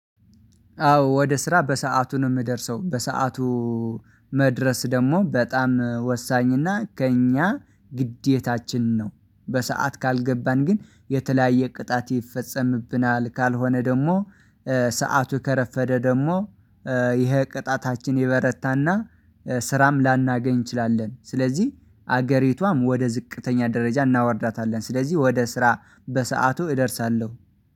አዎ ወደ ስራ በሰአቱ ነው የምደርሰው በሰአቱ። መድረስ ደግሞ በጣም ወሳኝና ከእኛ ግዴታችን ነው። በሰአት ካልገባን ግን የተለያየ ቅጣት ይፈጸምብናል ካልሆነ ደግሞ ሰዓቱ ከረፈደ ደግሞ ይሄ ቅጣታችን ይበረታና ስራም ላናገኝ እንችላለን። ስለዚህ አገሪቷም ወደ ዝቅተኛ ደረጃ እናወርዳታለን። ስለዚህ ወደ ስራ በሰአቱ እደርሳለሁ